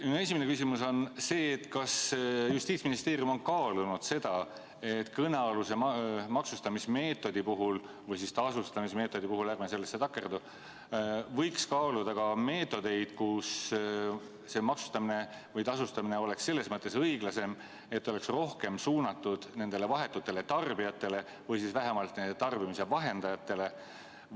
Minu esimene küsimus on see: kas Justiitsministeerium on kaalunud seda, et kõnealuse maksustamismeetodi puhul – või siis tasustamismeetodi puhul, ärme nendesse sõnadesse takerdu – võiks kaaluda ka meetodeid, kus see maksustamine või tasustamine oleks selles mõttes õiglasem, et ta oleks rohkem suunatud nendele vahetutele tarbijatele või vähemalt nendele tarbimise vahendajatele?